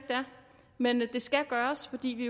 men det skal gøres fordi vi